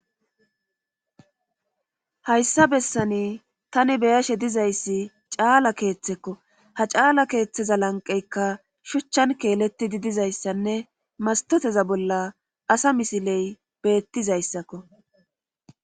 hayssa bessani tani beyashe dizayssi caala keeththekko ha caala keeththeza lanqeykka shuchchan keeletidi dizayssanne mastoteza bolla asa misiley beettizayssakko